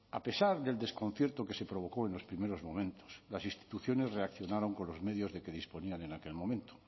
a pesar del desconcierto que se provocó en los primeros momentos las instituciones reaccionaron con los medios de que disponían en aquel momento